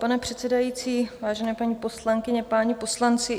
Pane předsedající, vážené paní poslankyně, páni poslanci.